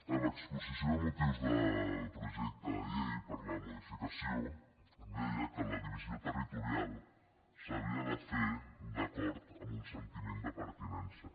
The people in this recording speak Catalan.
a l’exposició de motius del projecte de llei per la modificació deia que la divisió territorial s’havia de fer d’acord amb un sentiment de pertinença